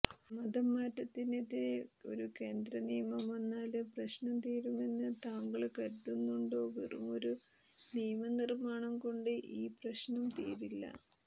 മതംമാറ്റത്തിനെതിരെ ഒരു കേന്ദ്രനിയമം വന്നാല് പ്രശ്നം തീരുമെന്ന് താങ്കള് കരുതുന്നുണ്ടോ വെറുമൊരു നിയമനിര്മ്മാണംകൊണ്ട് ഈ പ്രശ്നം തീരില്ല